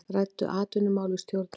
Ræddu atvinnumál við stjórnvöld